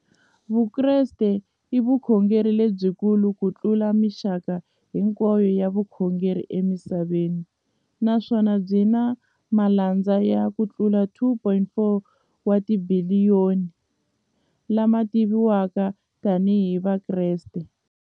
Vukreste i vukhongeri lebyi kulu kutlula mixaka hinkwayo ya vukhongeri emisaveni, naswona byi na malandza yo tlula 2.4 wa tibiliyoni, la ma tiviwaka tani hi Vakreste.